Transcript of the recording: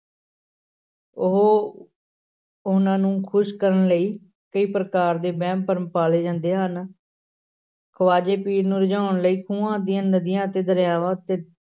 ਉਹ ਉਨ੍ਹਾਂ ਨੂੰ ਖ਼ੁਸ਼ ਕਰਨ ਲਈ ਕਈ ਪ੍ਰਕਾਰ ਦੇ ਵਹਿਮ ਭਰਮ ਪਾਲੇ ਜਾਂਦੇ ਹਨ ਖ਼ਵਾਜੇ ਪੀਰ ਨੂੰ ਰਿਝਾਉਣ ਲਈ ਖੂਹਾਂ ਦੀਆਂ ਨਦੀਆਂ ਅਤੇ ਦਰਿਆਵਾਂ ਉੱਤੇ